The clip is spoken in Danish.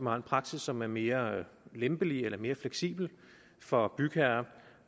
har en praksis som er mere lempelig eller mere fleksibel for bygherrer